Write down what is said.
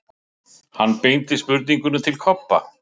Hann beindi spurningunni til Kobba.